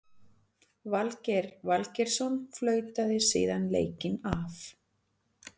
Valgeir Valgeirsson flautaði síðan leikinn af.